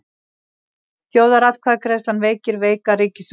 Þjóðaratkvæðagreiðslan veikir veika ríkisstjórn